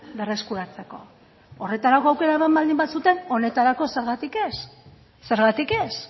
berreskuratzeko horretarako aukera eman baldin bazuten honetarako zergatik ez zergatik ez